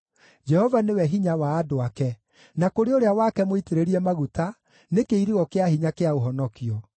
Jehova nĩwe hinya wa andũ ake, na kũrĩ ũrĩa wake mũitĩrĩrie maguta nĩ kĩirigo kĩa hinya kĩa ũhonokio.